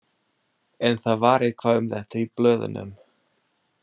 En það var eitthvað um þetta í blöðunum.